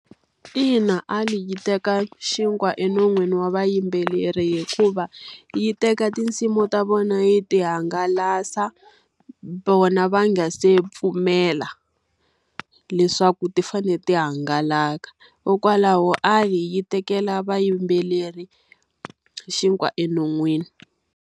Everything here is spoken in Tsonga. Ina A_I yi teka xinkwa enon'wini wa vayimbeleri hikuva, yi teka tinsimu ta vona yi ta hangalasa vona va nga se pfumela leswaku ti fanele ti hangalaka. Hikokwalaho A_I yi tekela vayimbeleri xinkwa enon'wini.